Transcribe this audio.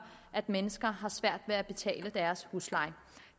at mennesker har svært ved at betale deres husleje